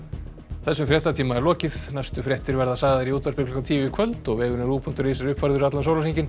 þessum fréttatíma er lokið næstu fréttir verða sagðar í útvarpi klukkan tíu í kvöld og vefurinn ruv punktur is er uppfærður allan sólarhringinn